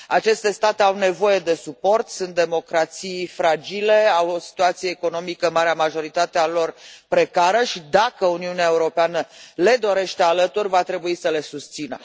Aceste state au nevoie de suport, sunt democrații fragile, au o situație economică, marea majoritate a lor, precară și dacă Uniunea Europeană le dorește alături va trebui să le susțină.